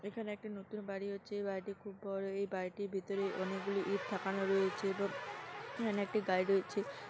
এখানে একটা নতুন বাড়ি হচ্ছে। এ বাড়িটি খুব বড়। এই বাড়িটির ভিতরে অনেকগুলি ইট ঠেকানো রয়েছে এবং এখানে একটি গাড়ি রয়েছে।